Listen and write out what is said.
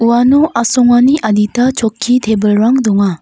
uano asongani adita chokki tebilrang donga.